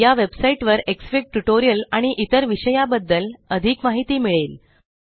या वेबसाइट वर Xfig tutorial आणि इतर विषया बद्दल अधिक माहिती मिळेल